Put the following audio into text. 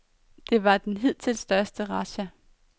Det var den hidtil største razzia.